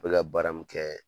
baara min kɛ.